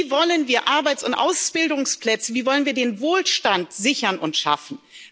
Wie wollen wir Arbeits und Ausbildungsplätze, wie wollen wir den Wohlstand sichern und schaffen?